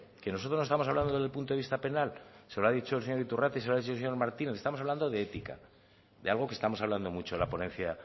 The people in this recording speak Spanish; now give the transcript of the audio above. que nosotros no estamos hablando desde el punto de vista penal se lo ha dicho el señor iturrate se lo ha dicho el señor martínez estamos hablando de ética de algo que estamos hablando mucho en la ponencia